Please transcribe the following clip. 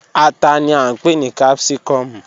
Ata ni a npe ni capsicum